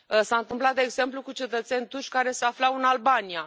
S a întâmplat, de exemplu, cu cetățeni turci care se aflau în Albania.